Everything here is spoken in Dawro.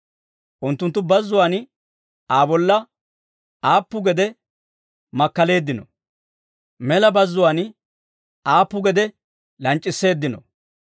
Unttunttu bazzuwaan Aa bolla aappu gede makkaleeddinoo! Mela bazzuwaan aappu gede lanc'c'isseeddino!